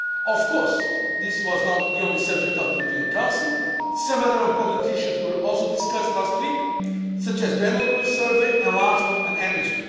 not less. Of course, this was not the only subject at the European Council some other important issues were also discussed last week, such as the annual growth survey, enlargement